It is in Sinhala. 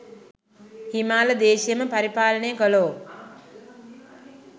හිමාල දේශයම පරිපාලනය කළෝ,